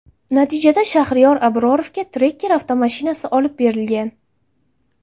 Natijada Shaxriyor Abrorovga Tracker avtomashinasi olib berilgan.